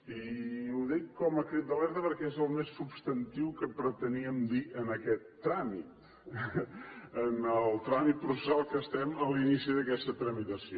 i ho dic com a crit d’alerta perquè és el més substantiu que preteníem dir en aquest tràmit en el tràmit processal perquè estem a l’inici d’aquesta tramitació